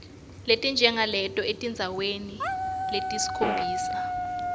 letinjengaleto etindzaweni letisikhombisa